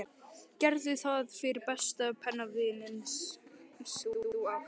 Gerðu það fyrir besta pennavininn sem þú átt.